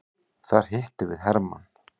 Þar hittum við hermann.